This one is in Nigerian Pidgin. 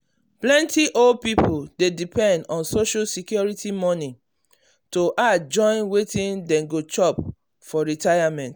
plenty old people dey depend on social security money to add join wetin dem dey chop for retirement.